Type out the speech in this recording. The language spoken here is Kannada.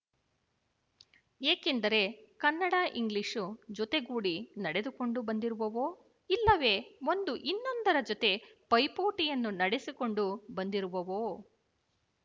ಏಕೆಂದರೆ ಕನ್ನಡಇಂಗ್ಲಿಶು ಜೊತೆಗೂಡಿ ನಡೆದುಕೊಂಡು ಬಂದಿರುವವೋ ಇಲ್ಲವೇ ಒಂದು ಇನ್ನೊಂದರ ಜೊತೆ ಪೈಪೋಟಿಯನ್ನು ನಡೆಸಿಕೊಂಡು ಬಂದಿರುವವೋ